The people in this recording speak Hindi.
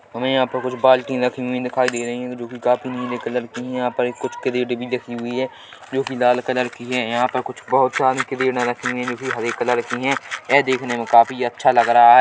हमें यहाँ पे कुछ बाल्टिया रखी हुई दिखाई दे रही है जो की काफी नीली कलर की है यहाँ पर कुछ केरिट भी रखी हुई है जो कि लाल कलर की है यहाँ पर कुछ बहुत सारी ट्रे रखी हुई है जो की हरे कलर की है यह देखने में काफी अच्छा लग रहा है।